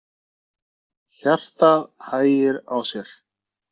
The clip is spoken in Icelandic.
Hjartað hægir á sér.